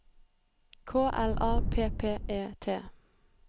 K L A P P E T